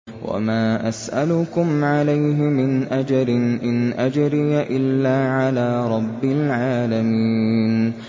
وَمَا أَسْأَلُكُمْ عَلَيْهِ مِنْ أَجْرٍ ۖ إِنْ أَجْرِيَ إِلَّا عَلَىٰ رَبِّ الْعَالَمِينَ